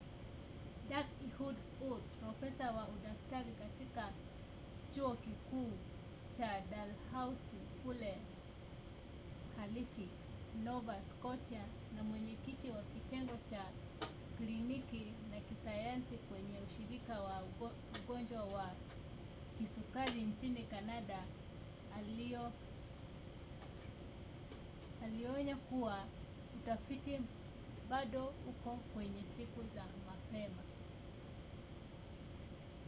dak. ehud ur profesa wa udaktari katika chuo kikuu cha dalhousie kule halifix nova scotia na mwenyekiti wa kitengo cha kliniki na kisayansi kwenye ushirika wa ugonjwa wa kisukari nchini canada alionya kuwa utafiti bado uko kwenye siku za mapema